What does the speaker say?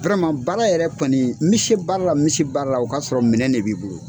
baara yɛrɛ kɔni n bɛ se baara la n bɛ baara la o k'a sɔrɔ minɛ de b'i bolo.